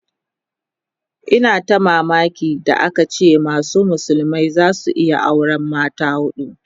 yana ta mamaki da aka ce masa musulmi zai iya auran mata hudu